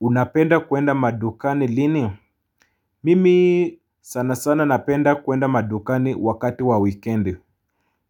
Unapenda kwenda madukani lini? Mimi sana sana napenda kuenda madukani wakati wa weekend.